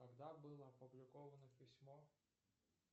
когда было опубликовано письмо